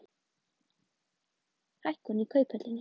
Hækkun í Kauphöllinni